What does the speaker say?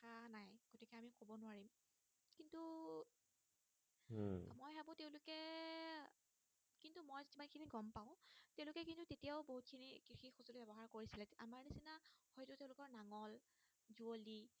যুৱলি